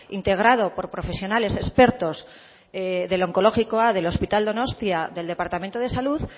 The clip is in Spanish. integrado por profesionales expertos del onkologikoa del hospital donostia del departamento de salud